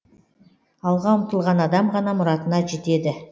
алға ұмтылған адам ғана мұратына жетеді